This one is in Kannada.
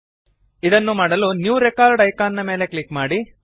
ಇದನ್ನು ಮಾಡಲು ನ್ಯೂ ರೆಕಾರ್ಡ್ ಐಕಾನ್ ಮೇಲೆ ಕ್ಲಿಕ್ ಮಾಡಿರಿ